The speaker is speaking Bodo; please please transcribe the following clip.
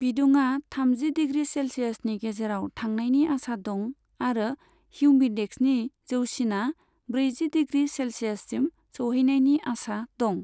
बिदुङा थामजि डिग्री सेल्सियासनि गेजेराव थांनायनि आसा दं आरो हिउमिडेक्सनि जौसिना ब्रैजि डिग्री सेल्सियससिम सौहैनायनि आसा दं।